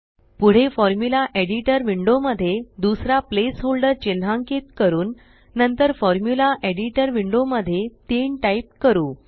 पुढे formula editor window मध्ये दुसरा प्लेस होल्डर चिन्हांकित करून नंतर फॉर्मुला एडिटर विंडो मध्ये 3 टाइप करू